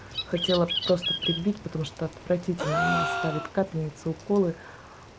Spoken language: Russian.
хотела просто прибить потому что отвратительно она ставит капельницы уколы